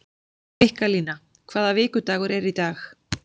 Mikkalína, hvaða vikudagur er í dag?